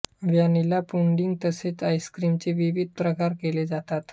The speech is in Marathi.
व्हॅनिला पुडिंग तसेच आईस्क्रीमचे विविध प्रकार केले जातात